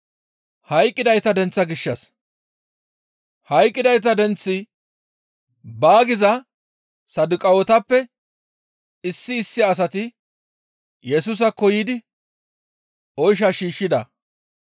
Hayqqidayta denththi baa giza Saduqaawetappe issi issi asati Yesusaakko yiidi oysha shiishshida.